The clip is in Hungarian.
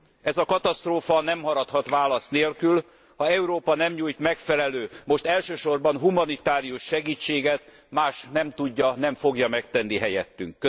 Ez a katasztrófa nem maradhat válasz nélkül, ha Európa nem nyújt megfelelő, most elsősorban humanitárius segítséget, más nem tudja, nem fogja megtenni helyettünk.